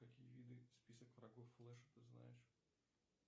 какие виды список врагов флеша ты знаешь